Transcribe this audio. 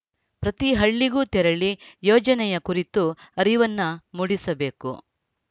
ಪ್ರತಿ ಹಳ್ಳಿಗೂ ತೆರಳಿ ಯೋಜನೆಯ ಕುರಿತು ಅರಿವನ್ನು ಮೂಡಿಸಬೇಕು